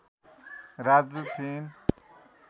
राजदूत थिइन्